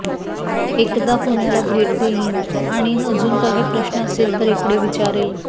एकदा पुण्याला भेट देईन आणी अजून काही प्रश्न असेल तर इकडे विचारेल